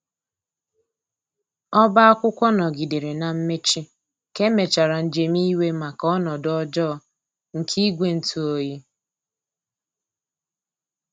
Ọba akwụkwo ngogidere na mmechi ka emechara njem iwe maka ọnodo ọjọ nke igwe ntụ ọyi